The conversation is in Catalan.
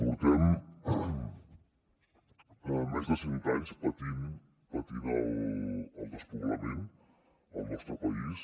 portem més de cent anys patint el despoblament al nostre país